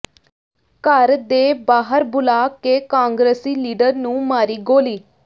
ਘਰ ਦੇ ਬਾਹਰ ਬੁਲਾ ਕੇ ਕਾਂਗਰਸੀ ਲੀਡਰ ਨੂੰ ਮਾਰੀ ਗੋਲ਼ੀ